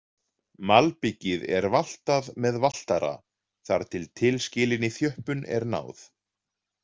Malbikið er valtað með valtara þar til tilskilinni þjöppun er náð.